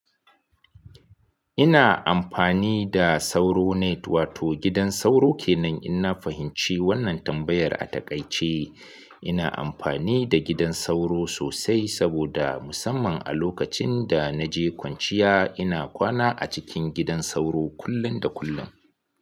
Ina amfani da Sauro Net wato gidan sauro kenan in na fahimci wannan tambayar a takaice. Ina amfani da gidan sauro sosai saboda musamman a lokacin da na je kwanciya ina kwana a cikin gidan sauro kullun da kullun.